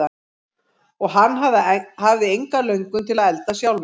Og hann hafði enga löngun til að elda sjálfur.